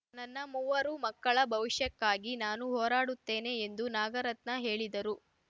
ನನ್ನ ಮೂವರು ಮಕ್ಕಳ ಭವಿಷ್ಯಕ್ಕಾಗಿ ನಾನು ಹೋರಾಡುತ್ತೇನೆ ಎಂದು ನಾಗರತ್ನ ಹೇಳಿದರು